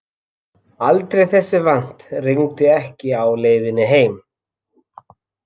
Aldrei þessu vant rigndi ekki á leiðinni heim.